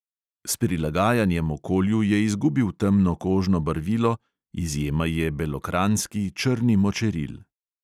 S prilagajanjem okolju je izgubil temno kožno barvilo, izjema je belokranjski črni močeril.